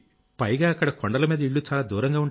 పైగా అక్కడ కొండలమీద ఇళ్లు చాలా